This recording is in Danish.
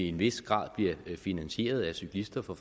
en vis grad bliver finansieret af cyklister fra